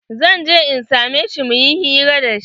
Zan je in same shi muyi hira da shi.